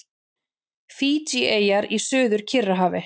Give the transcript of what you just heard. Fídjieyjar í Suður-Kyrrahafi.